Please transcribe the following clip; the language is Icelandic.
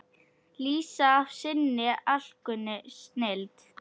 lýsa af sinni alkunnu snilld.